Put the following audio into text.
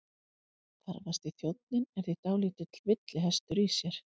Þarfasti þjónninn er því dálítill villihestur í sér.